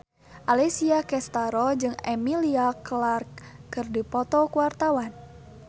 Alessia Cestaro jeung Emilia Clarke keur dipoto ku wartawan